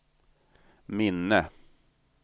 minne